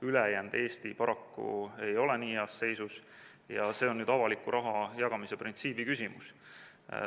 Ülejäänud Eesti paraku ei ole nii heas seisus ja see on avaliku raha jagamise printsiibi küsimus.